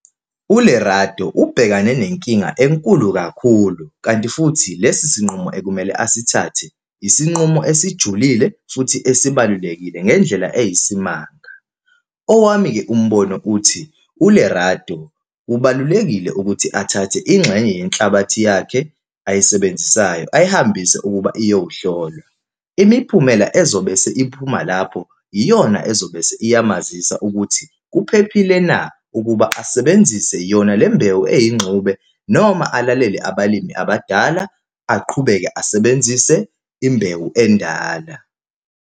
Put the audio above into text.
ULerato ubhekane nenkinga enkulu kakhulu, kanti futhi lesi sinqumo ekumele asithathe isinqumo esijulile futhi esibalulekile ngendlela eyisimanga. Owami-ke umbono uthi, uLerato kubalulekile ukuthi athathe ingxenye yenhlabathi yakhe ayisebenzisayo, ayihambise ukuba iyohlolwa. Imiphumela ezobe seyiphuma lapho iyona ezobe isiyamazisa ukuthi kuphephile na, ukuba asebenzise yona lembewu eyingxenye noma alalele abalimi abadala, aqhubeke asebenzise imbewu endala.